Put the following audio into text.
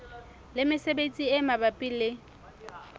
le mesebetsi e mabapi le